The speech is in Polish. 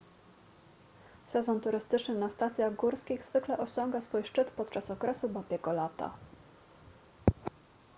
sezon turystyczny na stacjach górskich zwykle osiąga swój szczyt podczas okresu babiego lata